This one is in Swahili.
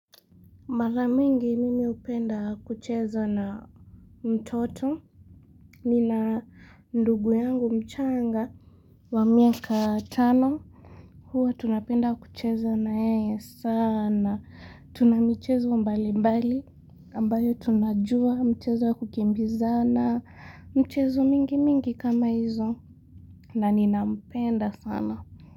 Mara mingi mimi hupenda kucheza na mtoto. Nina ndugu yangu mchanga wa miaka tano. Huwa tunapenda kucheza na yeye sana. Tuna michezo mbali mbali. Ambayo tunajua mchezo kukimbiza na mchezo mingi mingi kama hizo. Na ninampenda sana.